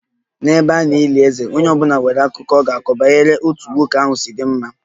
N'ebe a na-eli eze, onye ọ bụla nwere akụkọ ọ ga-akọ banyere otú nwoke ahụ si dị mma